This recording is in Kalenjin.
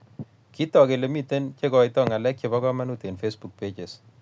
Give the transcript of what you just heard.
Kitook kele mitei cheikoitoi ng'alek chebo komonut eng Facebook pages